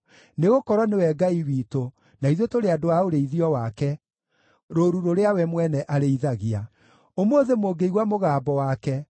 nĩgũkorwo nĩwe Ngai witũ, na ithuĩ tũrĩ andũ a ũrĩithio wake, rũũru rũrĩa we mwene arĩithagia. Ũmũthĩ mũngĩigua mũgambo wake,